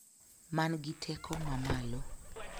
Mangi teko mamalo